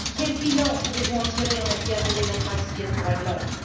Quel bilan pouvez vous en tirer en matière de démocratie et de droits de l'homme?